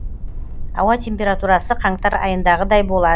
ауа температурасы қаңтар айындағыдай болады